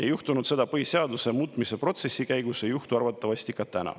Ei juhtunud seda põhiseaduse muutmise protsessi käigus, ei juhtu arvatavasti ka täna.